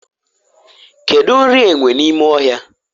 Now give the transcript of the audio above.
kedu nri enwe n'ime ohia?